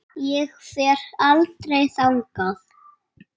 Ég fer aldrei þangað.